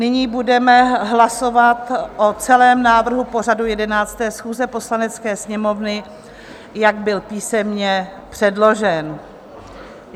Nyní budeme hlasovat o celém návrhu pořadu 11. schůze Poslanecké sněmovny, jak byl písemně předložen.